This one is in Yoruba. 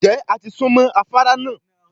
Ǹjẹ́ a ti sún mọ́ afárá náà?